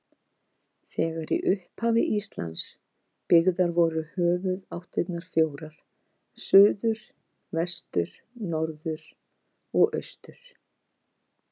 Þegar í upphafi Íslands byggðar voru höfuðáttirnar fjórar: suður, vestur, norður og austur.